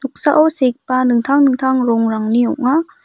noksao segipa dingtang dingtang rongrangni ong·a.